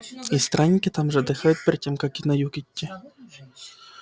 и странники там же отдыхают перед тем как на юг идти